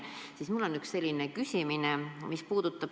Seepärast mul on üks selline küsimus.